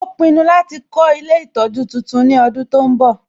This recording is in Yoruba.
Ó pinnu láti kọ́ ilé ìtọjú titun ní ọdún tó ń bọ̀